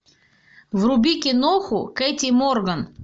вруби киноху кэти морган